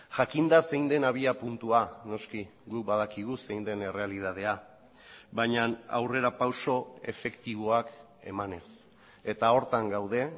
jakinda zein den abiapuntua noski guk badakigu zein den errealitatea baina aurrerapauso efektiboak emanez eta horretan gaude